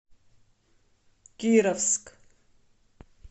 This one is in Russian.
кировск